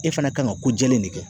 E fana kan ka ko jɛlen de kɛ